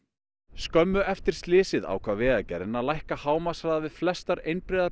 skömmu eftir slysið ákvað Vegagerðin að lækka hámarkshraða við flestar einbreiðar